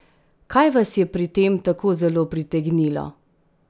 Kaj vas je pri tem tako zelo pritegnilo?